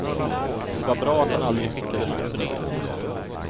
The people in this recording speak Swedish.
Det var bra att han aldrig skickade något brev.